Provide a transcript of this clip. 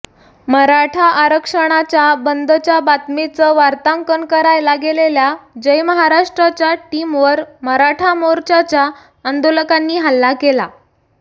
मराठा आरक्षणाच्या बंदच्या बातमीचं वार्तांकन करायला गेलेल्या जय महाराष्ट्रच्या टीमवर मराठा मोर्चाच्या आंदोलकांनी हल्ला केला